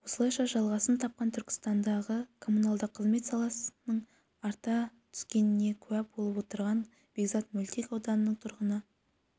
осылайша жалғасын тапқан түркістандағы коммуналдық қызмет сапасының арта түскеніне куә болып отырған бекзат мөлтек ауданының тұрғыны